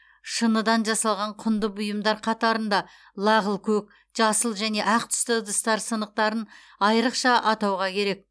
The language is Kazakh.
шыныдан жасалған құнды бұйымдар қатарында лағыл көк жасыл және ақ түсті ыдыстар сынықтарын айрықша атауға керек